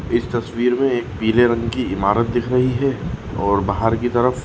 इस तस्वीर मे एक पीले रंग की इमारत दिख रही है और बाहर की तरफ--